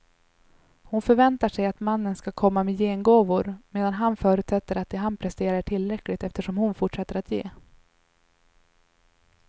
Hon förväntar sig att mannen ska komma med gengåvor, medan han förutsätter att det han presterar är tillräckligt eftersom hon fortsätter att ge.